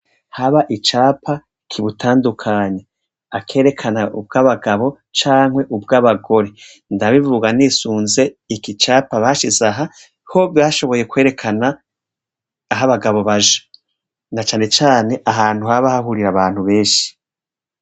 Haba icapa kibutandukanya akerekana ubwabagabo canke ubwabagore ndabivuga nisunze iki capa bashize aha ko bashoboye kwerekana aho abagabo baja na cane cane ahantu haba hahurira abantu benshi.